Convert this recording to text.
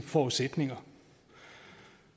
forudsætninger